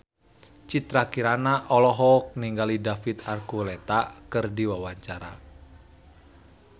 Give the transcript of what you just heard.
Citra Kirana olohok ningali David Archuletta keur diwawancara